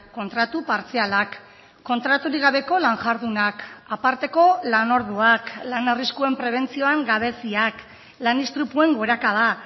kontratu partzialak kontraturik gabeko lan jardunak aparteko lan orduak lan arriskuen prebentzioan gabeziak lan istripuen gorakada